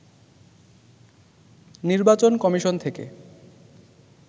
নির্বাচন কমিশন থেকে